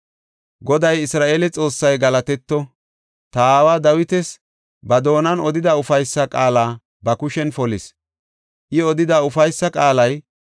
“Goday Isra7eele Xoossay galatetto! Ta aawa Dawitas ba doonan odida ufaysa qaala ba kushen polis. I odida ufaysa qaalay,